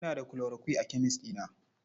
Ina da chloroquine a kemes ɗina.